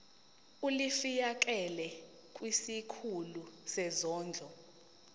ulifiakela kwisikulu sezondlo